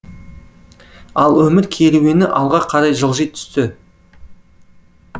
ал өмір керуені алға қарай жылжи түсті